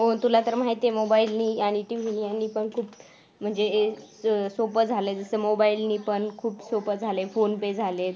हो तुला तर माहित आहे mobile नि आणि TV नि आणि पण खूप म्हणजे हे सोपं झालंय जस mobile नि खूप सोपं झालंय phone pay झालेत.